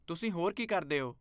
ਤੁਸੀਂ ਹੋਰ ਕੀ ਕਰਦੇ ਹੋ?